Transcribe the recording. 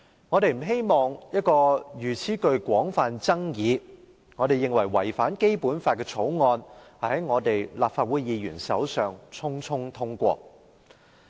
我們不希望一項如此具廣泛爭議、我們認為違反《基本法》的《條例草案》在立法會議員手上匆匆通過。